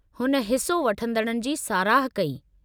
हुन हिस्सो वठंदड़नि जी साराह कई।